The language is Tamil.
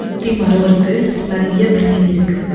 சுத்தி மரோ இருக்கு நெறைய பில்டிங் இருக்கு.